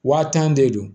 Wa tan de don